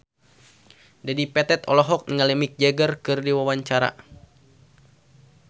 Dedi Petet olohok ningali Mick Jagger keur diwawancara